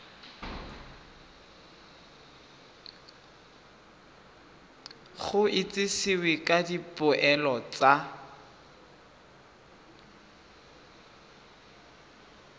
go itsisiwe ka dipoelo tsa